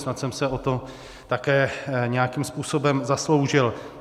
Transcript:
Snad jsem se o to také nějakým způsobem zasloužil.